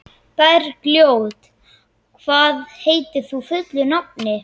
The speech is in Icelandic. Bergljót, hvað heitir þú fullu nafni?